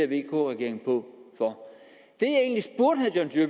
vk regeringen for